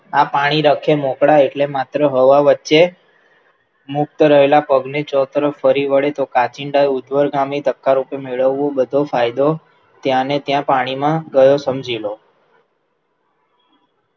આ પાણી રખે મોકળા એટલે માત્ર હવા વચ્ચે મુક્ત રહેલા પગને ચોતરફ વળે તો કાંચિડાએ ઊધ્વગામી તત્કાર રૂપે મેળવવું બધો ફાયદો ત્યાં ને ત્યાં પાણીમાં ગયો સમજી લો.